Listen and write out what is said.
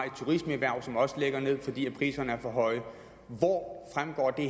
et turismeerhverv der også ligger ned fordi priserne er for høje hvor fremgår det